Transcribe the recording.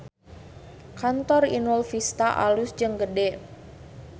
Kantor Inul Vista alus jeung gede